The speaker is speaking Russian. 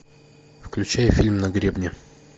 включай фильм на гребне